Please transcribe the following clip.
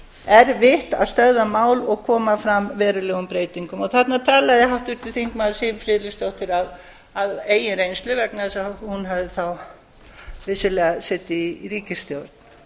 erfitt að stöðva mál og koma fram verulegum breytingum og þarna talaði háttvirtur þingmaður siv friðleifsdóttir af eigin reynslu vegna þess að hún hafði þá vissulega setið í ríkisstjórn